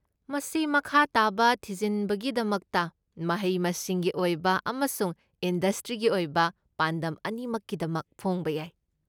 ꯃꯁꯤ ꯃꯈꯥ ꯇꯥꯕ ꯊꯤꯖꯤꯟꯕꯒꯤꯗꯃꯛꯇ, ꯃꯍꯩ ꯃꯁꯤꯡꯒꯤ ꯑꯣꯏꯕ ꯑꯃꯁꯨꯡ ꯏꯟꯗꯁꯇ꯭ꯔꯤꯒꯤ ꯑꯣꯏꯕ ꯄꯥꯟꯗꯝ ꯑꯅꯤꯃꯛꯀꯤꯗꯃꯛ ꯐꯣꯡꯕ ꯌꯥꯏ꯫